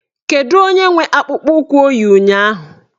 Kedụ onye nwe akpụkpọụkwụ o yi ụnyaahụ?